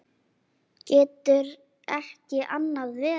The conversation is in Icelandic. Getur ekki annað verið.